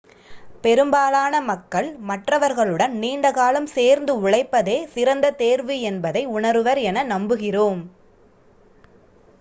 பெரும்பாலான மக்கள் மற்றவர்களுடன் நீண்ட காலம் சேர்ந்து உழைப்பதே சிறந்த தேர்வு என்பதை உணருவர் என நம்புகிறோம்